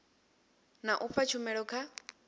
na u fha tshumelo kha